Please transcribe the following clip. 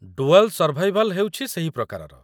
Dual survival' ହେଉଛି ସେହି ପ୍ରକାରର।